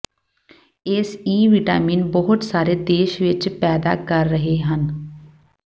ਇਸ ਿਵਟਾਿਮਨ ਬਹੁਤ ਸਾਰੇ ਦੇਸ਼ ਵਿੱਚ ਪੈਦਾ ਕਰ ਰਹੇ ਹਨ